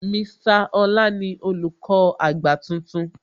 Mr Ọlá ni Olùkọ́ àgbà tuntun